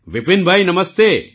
Vipinbhai Namaste